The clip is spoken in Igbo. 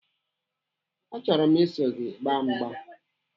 Achọrọ m iso gị agba mgba.